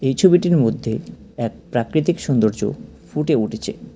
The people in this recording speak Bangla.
এই ছবিটির মধ্যে এক প্রাকৃতিক সৌন্দর্য ফুটে উঠেছে।